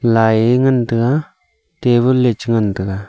lai ngan taga table lechu ngan taga.